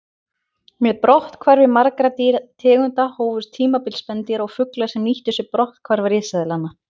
Með brotthvarfi margra tegunda hófst tímabil spendýra og fugla sem nýttu sér brotthvarf risaeðlanna.